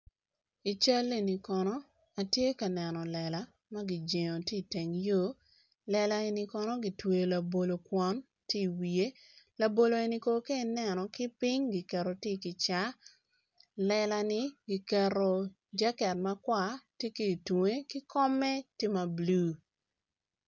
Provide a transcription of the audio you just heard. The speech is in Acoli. I cal eni kono atye ka neno lela magi cibo tye i teng yo lela eni kono gitweyo labolo kwong tye i wiye labolo ka ineno ki ping tye i gicaka lela ni giketo jacket makwar ki tunge ki kome tye ma blue.